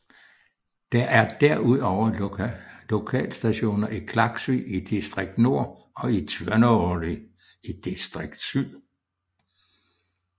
Der er derudover lokalstationer i Klaksvík i Distrikt Nord og i Tvøroyri i Distrikt Syd